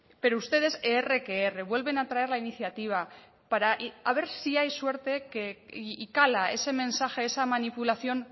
pero ustedes erre que erre vuelven a traer la iniciativa para a ver si hay suerte y cala ese mensaje esa manipulación